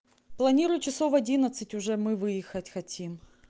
планирую часов в одиннадцать уже мы выехать хотим